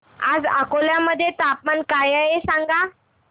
आज अकोला मध्ये तापमान काय आहे सांगा